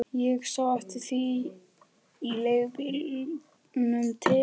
Ég sá eftir því í leigubílnum til